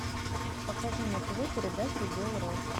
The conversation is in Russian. покажи на тв передачу белрос